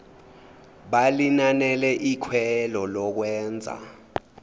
balinanele ikhwelo lokwenza